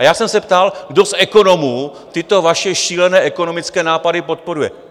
A já jsem se ptal, kdo z ekonomů tyto vaše šílené ekonomické nápady podporuje?